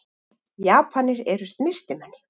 Japanir eru snyrtimenni.